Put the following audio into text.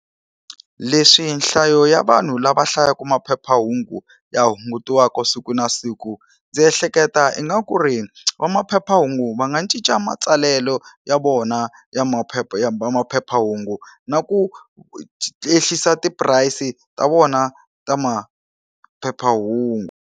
Leswi nhlayo ya vanhu lava hlayaka maphephahungu ya hungutiwaku siku na siku ndzi ehleketa ingaku ri va maphephahungu va nga cinca matsalelo ya vona ya maphepha ya maphephahungu na ku yehlisa ti-price ta vona ta maphephahungu.